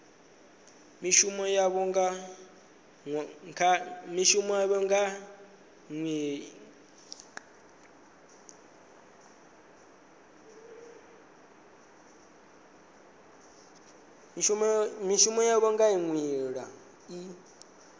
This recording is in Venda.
mishumo yavho nga nḓila i